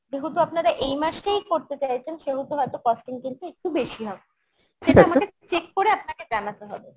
যেহেতু আপনারা এই মাসেই করতে চাইছেন সেহেতু হয়তো costing কিন্তু একটু বেশি হবে সেটা আমাকে check করে আপনাকে জানাতে হবে